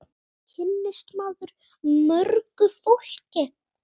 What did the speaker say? Svo kynnist maður mörgu fólki.